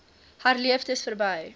herleef dis verby